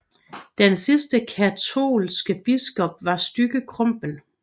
Den sidste katolske biskop var Stygge Krumpen